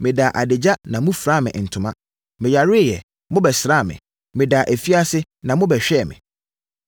Medaa adagya na mofiraa me ntoma. Meyareeɛ, na mobɛsraa me. Medaa afiase, na mobɛhwɛɛ me.’